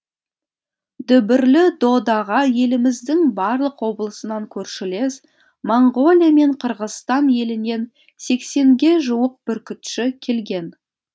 дүбірлі додаға еліміздің барлық облысынан көршілес моңғолия мен қырғызстан елінен сексенге жуық бүркітші келген